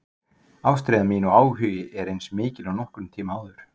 Ástríða mín og áhugi er eins mikil og nokkurn tíma áður.